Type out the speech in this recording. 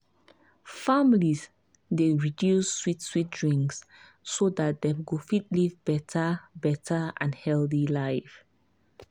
families dey reduce sweet sweet drinks so dat dem go fit live better better and healthy life.